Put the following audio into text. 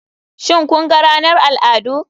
Shin kun ga ranar al'adu.